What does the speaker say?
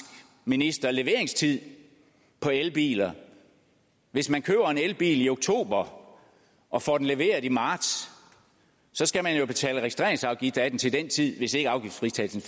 minister leveringstid på elbiler hvis man køber en elbil i oktober og får den leveret i marts skal man jo betale registreringsafgift af den til den tid hvis ikke afgiftsfritagelsen